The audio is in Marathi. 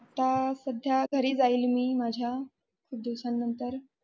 आता सद्या घरी जाईल मी माझ्या ख़ूप दिवसा नंतर.